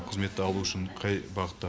қызметті алу үшін қай бағытта